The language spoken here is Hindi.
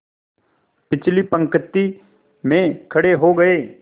पिछली पंक्ति में खड़े हो गए